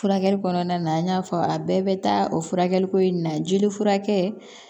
Furakɛli kɔnɔna na an y'a fɔ a bɛɛ bɛ taa o furakɛli ko in na jeli furakɛ